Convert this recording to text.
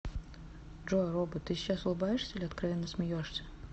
джой робот ты сейчас улыбаешься или откровенно смеешься